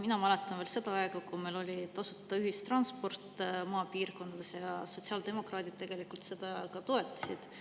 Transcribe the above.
Mina mäletan veel seda aega, kui meil oli tasuta ühistransport maapiirkondades, ja sotsiaaldemokraadid tegelikult seda ka toetasid.